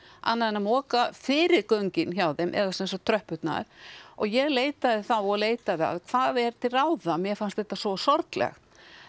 annað en að moka fyrir göngin hjá þeim eða sem sagt tröppurnar og ég leitaði þá og leitaði að hvað er til ráða mér fannst þetta svo sorglegt